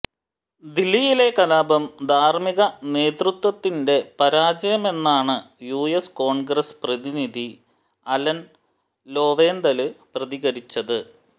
ദില്ലിയിലെ കലാപം ധാര്മ്മിക നേതൃത്വത്തിന്റെ പരാജയമെന്നാണ് യുഎസ് കോണ്ഗ്രസ് പ്രതിനിധി അലന് ലോവെന്തല് പ്രതികരിച്ചത്